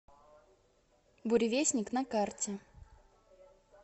буревестник на карте